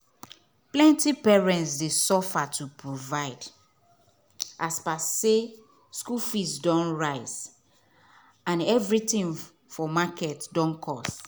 plenty parent dey suffer to provide as per say school fee don rise and everything for market don cost.